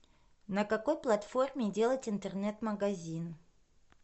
на какой платформе делать интернет магазин